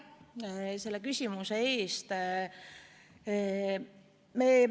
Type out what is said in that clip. Aitäh selle küsimuse eest!